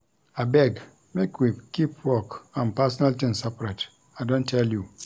Abeg, make we keep work and personal tins separate. I don tell you.